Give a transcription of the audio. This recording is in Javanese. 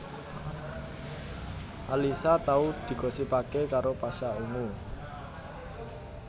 Alyssa tau digosipaké karo Pasha Ungu